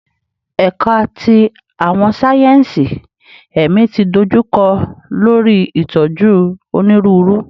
Ẹka ti Awọn sáyẹnsì Ẹmi ti dojukọ lori itoju Oniruuru